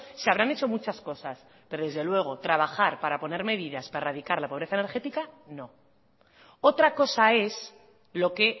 se habrán hecho muchas cosas pero desde luego trabajar para poner medidas para erradicar la pobreza energética no otra cosa es lo que